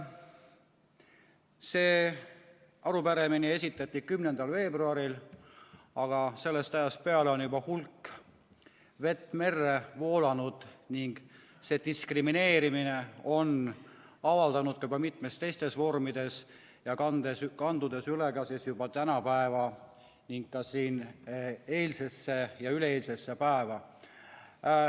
See arupärimine esitati 10. veebruaril, aga sellest ajast on juba hulk vett merre voolanud ning see diskrimineerimine on avaldunud juba mitmetes teistes vormides, kandudes üle ka juba tänapäeva ning ka eilsesse ja üleeilsesse päeva.